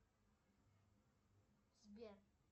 сбер